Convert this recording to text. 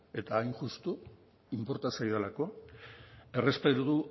eta hain justu inporta zaidalako errespetu